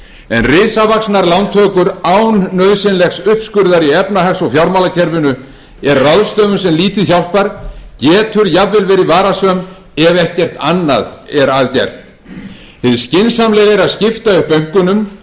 en risavaxnar lántökur án nauðsynlegs uppskurðar í efnahags og fjármálakerfinu er ráðstöfun sem lítið hjálpar getur jafnvel verið varasöm ef ekkert annað er að gert hið skynsamlega er að skipta upp bönkunum